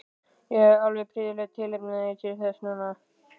Ég hafði alveg prýðilegt tilefni til þess núna.